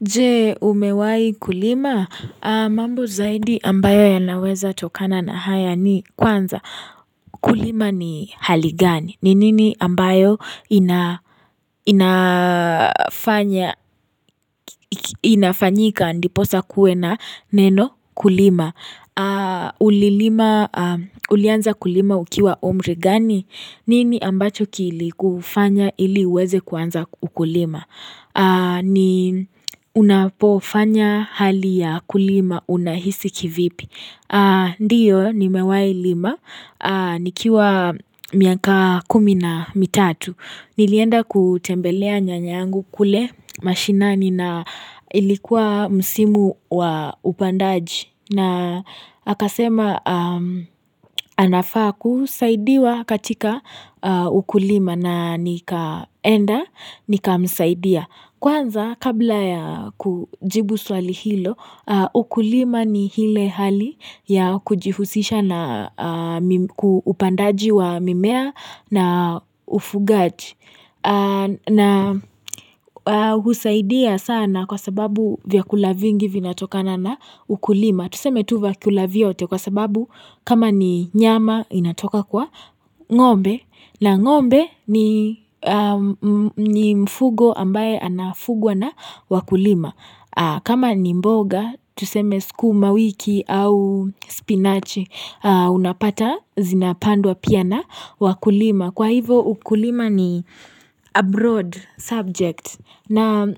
Je umewahi kulima mambo zaidi ambayo yanaweza tokana na haya ni kwanza kulima ni hali gani ni nini ambayo inafanyika ndiposa kuwe na neno kulima Ulilima, ulianza kulima ukiwa umri gani? Nini ambacho kilikufanya ili uweze kuanza ukulima? Ni unapofanya hali ya kulima unahisi kivipi. Ndiyo nimewahi lima. Nikiwa miaka kumi na mitatu. Nilienda kutembelea nyanyangu kule mashinani na ilikuwa msimu wa upandaji na akasema anafaa kusaidiwa katika ukulima na nikaenda nikamsaidia. Kwanza kabla ya kujibu swali hilo ukulima ni ile hali ya kujihusisha na upandaji wa mimea na ufugaji na husaidia sana kwa sababu vyakula vingi vinatokana na ukulima. Tuseme tu vyakula vyote kwa sababu kama ni nyama inatoka kwa ngombe na ng'ombe ni mfugo ambaye anafugwa na wakulima. Kama ni mboga tuseme sukuma wiki au spinachi unapata zinapandwa pia na wakulima. Kwa hivo ukulima ni a broad subject na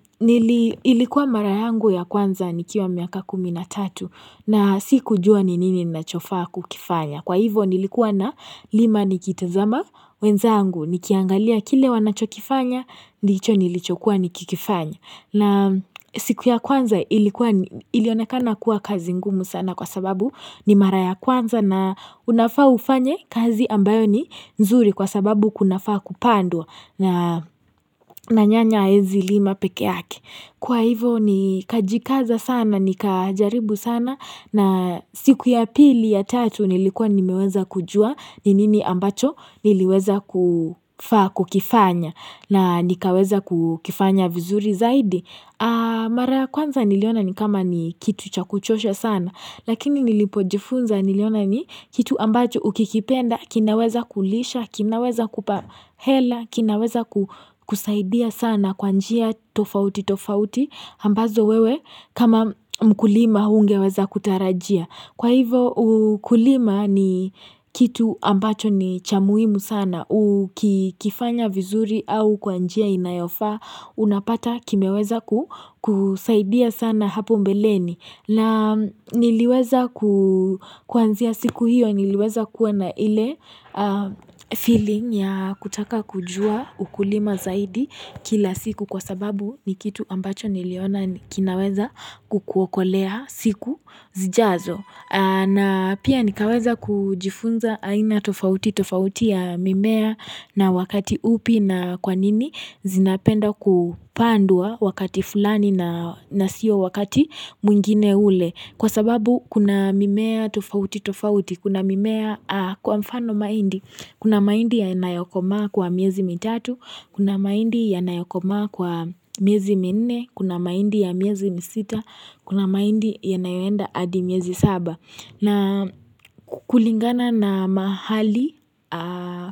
ilikuwa mara yangu ya kwanza nikiwa miaka kumi na tatu na sikujua ni nini nachofa kukifanya. Kwa hivo nilikuwa nalima nikitazama wenzangu nikiangalia kile wanachokifanya ni hicho nilichokuwa nikikifanya. Na siku ya kwanza ilikuwa ilionekana kuwa kazi ngumu sana kwa sababu ni mara ya kwanza na unafaa ufanye kazi ambayo ni nzuri kwa sababu kunafaa kupandwa na nyanya haezi lima pekee yake. Kwa hivo nikajikaza sana, nikajaribu sana na siku ya pili ya tatu nilikuwa nimeweza kujua ni nini ambacho niliweza kufaa kukifanya na nikaweza kukifanya vizuri zaidi. Mara ya kwanza niliona ni kama ni kitu cha kuchosha sana lakini nilipojifunza niliona ni kitu ambacho ukikipenda kinaweza kulisha, kinaweza kupa hela kinaweza kusaidia sana kwa njia tofautitofauti ambazo wewe kama mkulima hungeweza kutarajia kwa hivo ukulima ni kitu ambacho ni cha muhimu sana ukifanya vizuri au kwa njia inayofaa Unapata kimeweza kusaidia sana hapo mbeleni na niliweza kuanzia siku hiyo niliweza kuwa na ile feeling ya kutaka kujua ukulima zaidi kila siku Kwa sababu ni kitu ambacho niliona kinaweza kukuokolea siku zijazo na pia nikaweza kujifunza aina tofautitofauti ya mimea na wakati upi na kwanini zinapenda kupandwa wakati fulani na sio wakati mwingine ule kwa sababu kuna mimea tofautitofauti kuna mimea kwa mfano mahindi kuna mahindi yanayokomaa kwa miezi mitatu kuna mahindi yanayokomaa kwa miezi minne kuna mahindi ya miezi misita kuna mahindi yanayoenda hadi miezi saba na kulingana na mahali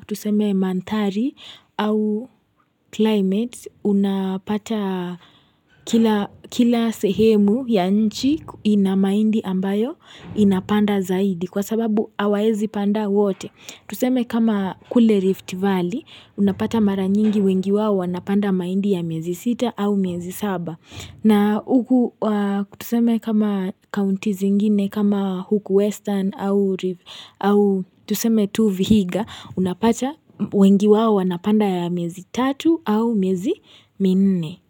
tuseme manthari au climate unapata kila sehemu ya nchi ina mahindi ambayo inapanda zaidi Kwa sababu hawaezi panda wote Tuseme kama kule rift valley unapata mara nyingi wengi wawo Unapanda mahindi ya miezi sita au miezi saba na huku tuseme kama counties zingine kama huku western au rift au tuseme tu vihiga unapata wengi wao wanapanda ya miezi tatu au miezi minne.